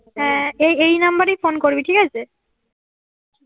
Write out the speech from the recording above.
হ্যাঁ এই এই নাম্বারেই ফোন করবি ঠিক আছে